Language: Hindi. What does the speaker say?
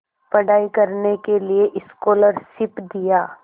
पढ़ाई करने के लिए स्कॉलरशिप दिया